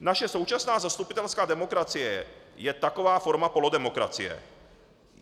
Naše současná zastupitelská demokracie je taková forma polodemokracie.